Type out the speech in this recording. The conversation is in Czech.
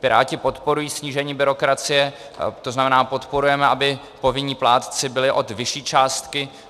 Piráti podporují snížení byrokracie, to znamená, podporujeme, aby povinní plátci byli od vyšší částky.